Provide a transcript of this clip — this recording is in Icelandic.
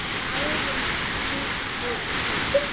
Árin liðu enn.